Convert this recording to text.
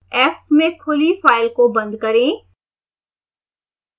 f में खुली file को बंद करें